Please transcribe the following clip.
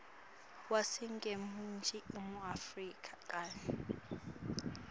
waseningizimu afrika kanye